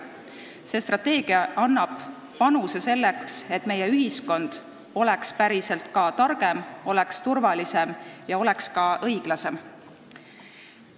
See strateegia annab panuse selleks, et meie ühiskond oleks targem, turvalisem ja ka õiglasem.